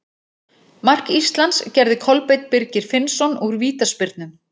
Mark Íslands gerði Kolbeinn Birgir Finnsson úr vítaspyrnu.